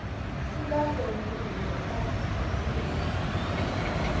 sikazongile sathi sifika